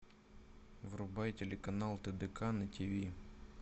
врубай телеканал тдк на тиви